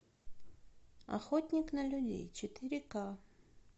охотник на людей четыре ка